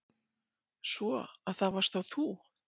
Svo. að það varst þá þú?